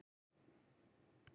Ég hef bara lesið um það.